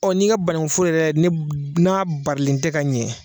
Ɔ n'i ka banankun foro yɛrɛ ne n'a barilen tɛ ka ɲɛ